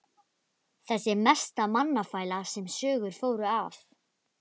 Þessi mesta mannafæla sem sögur fóru af!